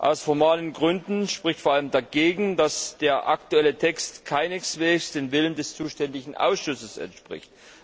Aus formalen Gründen spricht vor allem dagegen, dass der aktuelle Text keineswegs dem Willen des zuständigen Ausschusses entspricht.